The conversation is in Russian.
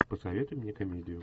посоветуй мне комедию